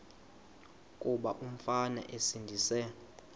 kuba umfana esindise